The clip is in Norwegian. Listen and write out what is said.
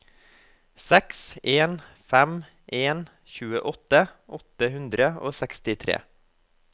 seks en fem en tjueåtte åtte hundre og sekstitre